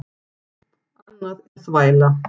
Annað er þvæla.